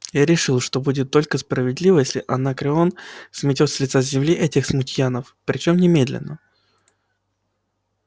я решил что будет только справедливо если анакреон сметёт с лица земли этих смутьянов причём немедленно